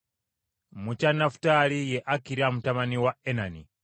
mu kya Nafutaali ye Akira mutabani wa Enani.”